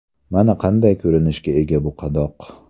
Mana qanday ko‘rinishga ega bu qadoq.